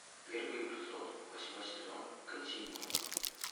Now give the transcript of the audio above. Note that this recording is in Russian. первый эпизод восьмой сезон континуум